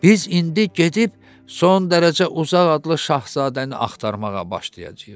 “Biz indi gedib son dərəcə uzaq adlı şahzadəni axtarmağa başlayacağıq.